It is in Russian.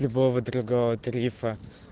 любого другого тарифа